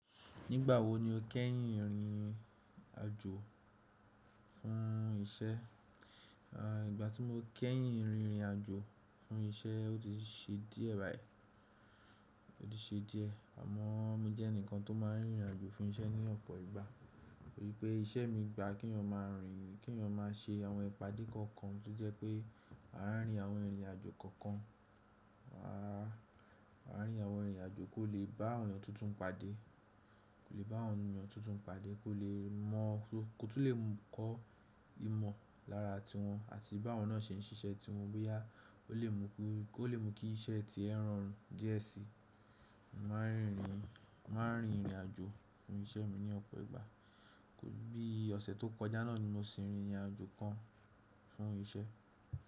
Nígbà wo ni o kẹ́yìn rìnrìn àjò fún iṣẹ́? Àì, ìgbà tí mo kẹ́yìn rìnrìn àjò fún iṣẹ́ o ti ṣe díẹ̀ báyìí, o ti ṣe díẹ̀. Àmọ́ mo jẹ́ ẹnìkan tó máa ń rìnrìn àjò fún iṣẹ́ ní ọ̀pọ̀ ìgbà. Nítorí pé iṣẹ́ mi gba kí'yàn máa rìn, k'èèyàn n máa ṣe àwọn ìpàdé kọ̀ọ̀kan tó jẹ́ pé a ránri àwọn ìrìnàjò kọ̀ọ̀kan. A, à rín àwọn ìrìnàjò kó lè bá àwọn ènìyàn tuntun pàdé, kó lè bá àwọn ènìyàn tuntun pàdé kó lè mọ́, kó tún lè kọ́ ìmọ̀ lára tiwọn àti báwọn náà ṣe ń ṣiṣẹ́ tiwọn bóyá ó lè mú kí iṣẹ́ ti ẹ́ rọrùn díẹ̀ síi. Mo máa ń rìnrìn, mo ma ń rìnrìn àjò fún iṣẹ́ mi ní ọ̀pọ̀ ìgbà. Bí i ọ̀sẹ̀ tó kọjá náà ni mo sì rìnrìn àjò kan fún iṣẹ́.